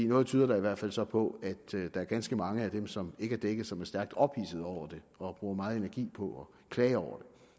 noget tyder da i hvert fald så på at der er ganske mange af dem som ikke er dækket som er stærkt ophidsede over det og bruger meget energi på at klage over